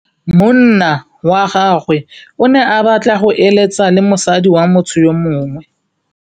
Monna wa gagwe o ne a batla go êlêtsa le mosadi wa motho yo mongwe.